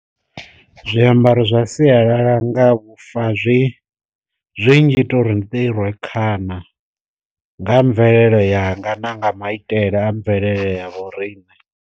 Zwi ambaro zwa sialala nga vhufa zwi zwi ngita uri ndi ḓi rwe khana nga mvelele yanga na nga maitele a mvelele ya vho riṋe.